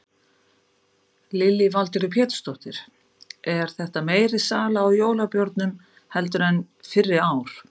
Lillý Valgerður Pétursdóttir: Er þetta meiri sala í jólabjórnum heldur en fyrri ár?